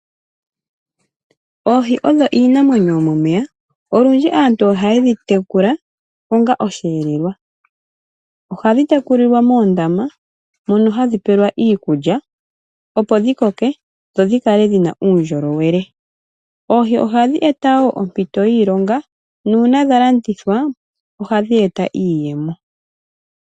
Oohi odho iinamwenyo yomomeya. Olundji aantu ohaye yi tekula onga osheelelwa. Ohadhi tekulilwa moondama mono hadhi pelwa iikulya opo dhi koke dho dhi kale dhina uundjolowele. Oohi ohadhi eta wo ompito yiilonga nuuna dha landithwa ohadhi e ta iiyemo.